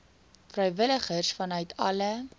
vrywilligers vanuit alle